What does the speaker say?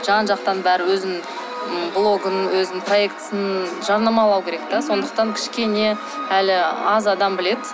жан жақтан бәрі өзінің і блогын өзінің проектісін жарнамалау керек те сондықтан кішкене әлі аз адам біледі